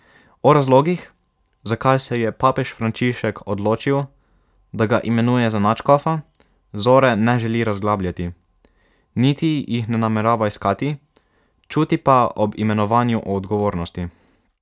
O razlogih, zakaj se je papež Frančišek odločil, da ga imenuje za nadškofa, Zore ne želi razglabljati, niti jih ne namerava iskati, čuti pa ob imenovanju odgovornost.